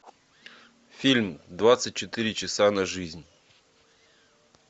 фильм двадцать четыре часа на жизнь